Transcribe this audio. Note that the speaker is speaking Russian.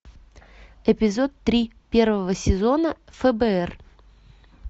эпизод три первого сезона фбр